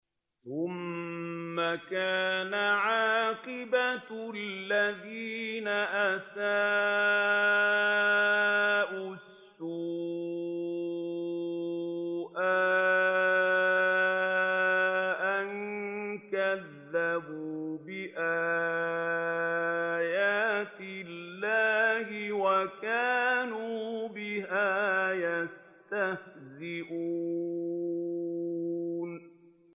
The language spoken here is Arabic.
ثُمَّ كَانَ عَاقِبَةَ الَّذِينَ أَسَاءُوا السُّوأَىٰ أَن كَذَّبُوا بِآيَاتِ اللَّهِ وَكَانُوا بِهَا يَسْتَهْزِئُونَ